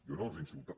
jo no els he insultat